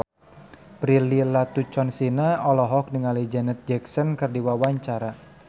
Prilly Latuconsina olohok ningali Janet Jackson keur diwawancara